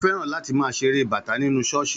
Ó fẹ́ràn láti máa ṣeré bata nínú ṣọ́ọ̀ṣì